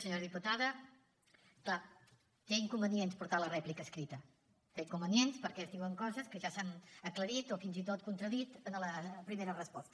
senyora diputada clar té inconvenients portar la rèplica escrita té inconvenients perquè es diuen coses que ja s’han aclarit o fins i tot contradit en la primera resposta